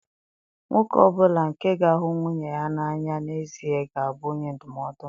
Nwoke ọ bụla nke ga-ahụ nwunye ya n'anya n'ezie ga-abụ onye ndụmọdụ m.